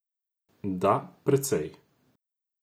Da, precej.